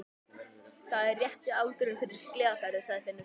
Það er rétti aldurinn fyrir sleðaferðir, sagði Finnur.